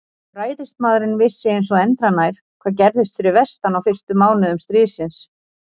Ræðismaðurinn vissi eins og endranær, hvað gerðist fyrir vestan á fyrstu mánuðum stríðsins.